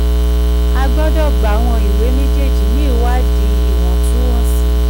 a gbọdọ̀ gbàwọ̀n ìwé mejeeji ní ìwádìí iwọntúnwọnsì.